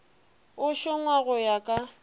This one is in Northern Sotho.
e šongwa go ya ka